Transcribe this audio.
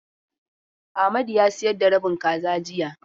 Amadu ya sayar da rabin kaza jiya.